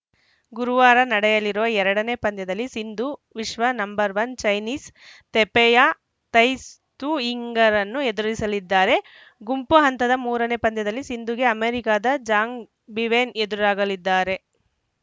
ಗುರುವಾರ ನಡೆಯಲಿರುವ ಎರಡನೇ ಪಂದ್ಯದಲ್ಲಿ ಸಿಂಧು ವಿಶ್ವ ನಂಬರ್ ಒನ್ ಚೈನೀಸ್‌ ತೆಪೆಯ ತೈಸ್ ತು ಯಿಂಗ್‌ರನ್ನು ಎದುರಿಸಲಿದ್ದಾರೆ ಗುಂಪು ಹಂತದ ಮೂರನೇ ಪಂದ್ಯದಲ್ಲಿ ಸಿಂಧುಗೆ ಅಮೆರಿಕದ ಜಾಂಗ್‌ ಬೀವೆನ್‌ ಎದುರಾಗಲಿದ್ದಾರೆ